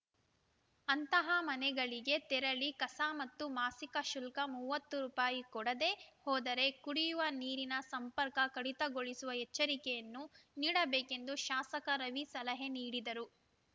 ಅಂತಹ ಮನೆಗಳಿಗೆ ತೆರಳಿ ಕಸ ಮತ್ತು ಮಾಸಿಕ ಶುಲ್ಕ ಮೂವತ್ತು ರುಪಾಯಿ ಕೊಡದೆ ಹೋದರೆ ಕುಡಿಯುವ ನೀರಿನ ಸಂಪರ್ಕ ಕಡಿತಗೊಳಿಸುವ ಎಚ್ಚರಿಕೆಯನ್ನು ನೀಡಬೇಕೆಂದು ಶಾಸಕ ರವಿ ಸಲಹೆ ನೀಡಿದರು